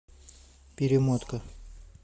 перемотка